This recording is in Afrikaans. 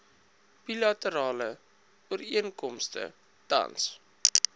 bilaterale ooreenkomste tans